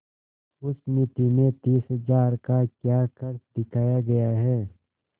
उस मिती में तीस हजार का क्या खर्च दिखाया गया है